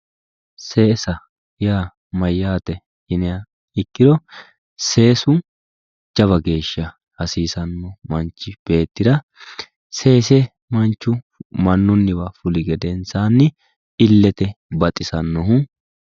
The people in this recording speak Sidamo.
seesa yaa mayyate yiniha ikkiro seesu jawa geeshsha hasiisanno manchi beetira seesu manchu mannuniwa fuliha ikkiro illetenni baxisanno